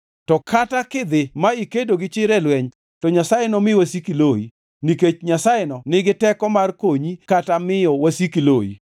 To kata kidhi ma ikedo gi chir e lweny, to Nyasaye nomi wasiki loyi, nikech Nyasayeno nigi teko mar konyi kata miyo wasiki loyi.”